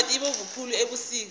itamati ibovu khulu ebusika